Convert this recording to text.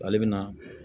Ale bɛ na